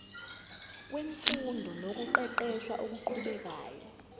wemfundo nokuqeqesha okuqhubekayo